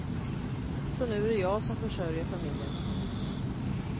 Så nu är det jag som försörjer familjen.